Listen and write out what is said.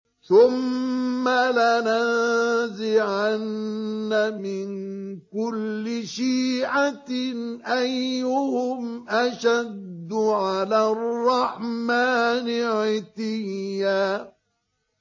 ثُمَّ لَنَنزِعَنَّ مِن كُلِّ شِيعَةٍ أَيُّهُمْ أَشَدُّ عَلَى الرَّحْمَٰنِ عِتِيًّا